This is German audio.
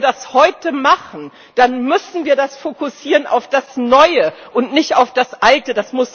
Wenn wir das heute machen, dann müssen wir das fokussieren auf das Neue, und nicht auf das Alte.